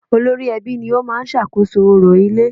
Olórí ẹbí ni ó máa ń sàkóso orò ilé